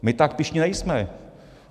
My tak pyšní nejsme.